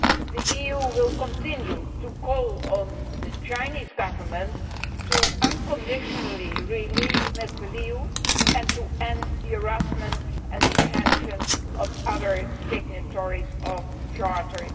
The EU will continue to call on the Chinese Government to unconditionally release Mr Liu and to end the harassment and detention of other signatories of Charter